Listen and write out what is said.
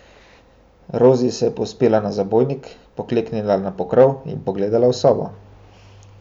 Rozi se je povzpela na zabojnik, pokleknila na pokrov in pogledala v sobo.